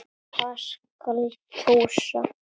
Hvað skal kjósa?